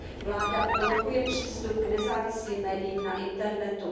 Vláda blokuje přístup k nezávislým médiím na internetu.